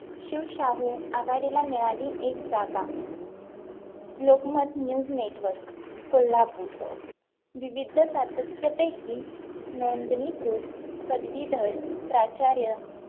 शिवशाही आघाडीला मिळाली एक जागा लोकमत News network कोल्हापूर विविध सातत्य पैकी नोंदणीकृत पदवीधर प्राचार्य